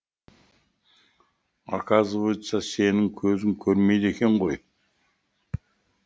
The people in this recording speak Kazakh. оказывается сенің көзің көрмейді екен ғой